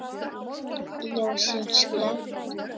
Ljósin slökkt.